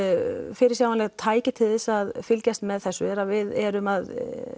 fyrirsjáanleg tæki til þess að fylgjast með þessu er að við erum að